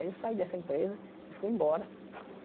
Aí eu saí dessa empresa e fui embora.